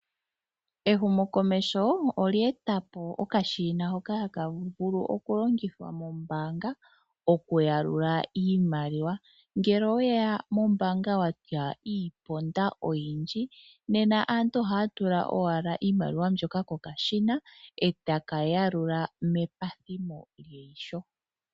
Ehumo komeho olyeetapo okashina hoka hakavulu okulongithwa mo mbaanga okuyalula iimaliwa. Ngele oweya mombaanga watya iiponda oyindji, nena aantu ohaatula owala iimaliwa mbyoka kokashina etakayalula mepathimo lyeho.